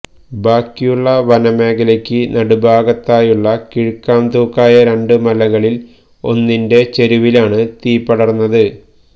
ബാക്കിയുള്ള വനമേഖലയ്ക്ക് നടുഭാഗത്തായുള്ള കീഴ്ക്കാംതൂക്കായ രണ്ട് മലകളില് ഒന്നിന്റെ ചരുവിലാണ് തീപടര്ന്നത്